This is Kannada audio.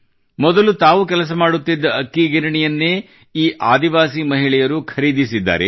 ಮೊದಲು ತಾವು ಕೆಲಸ ಮಾಡುತ್ತಿದ್ದ ಅಕ್ಕಿ ಗಿರಣಿಯನ್ನೇ ಈ ಆದಿವಾಸಿ ಮಹಿಳೆಯರು ಖರೀದಿಸಿದ್ದಾರೆ